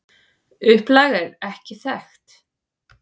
Upplag er ekki þekkt.